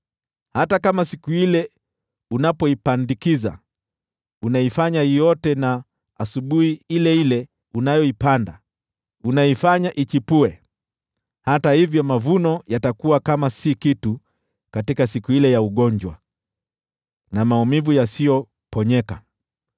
hata kama siku ile unapoipandikiza, unaifanya iote na asubuhi ile ile unayoipanda, unaifanya ichipue, hata hivyo mavuno yatakuwa kama si kitu katika siku ile ya ugonjwa na maumivu yasiyoponyeka.